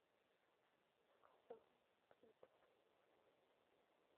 заказываю помидоры